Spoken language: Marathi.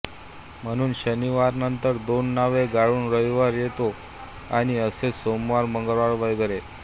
म्हणून शनीवारनंतर दोन नावे गाळून रविवार येतो आणि असेच सोमवार मंगळवार वगैरे